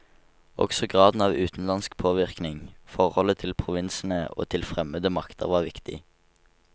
Også graden av utenlandsk påvirkning, forholdet til provinsene og til fremmede makter var viktig.